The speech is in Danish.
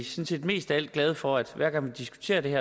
set mest af alt glade for at hver gang vi diskuterer det